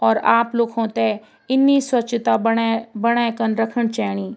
और आप लुखुं ते इन्नी स्वच्छता बणे बणेखन रखन चैनी ।